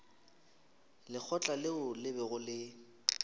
lekgotla leo le bego le